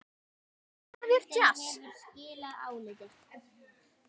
Við heyrum þetta alls staðar.